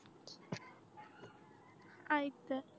ऐकते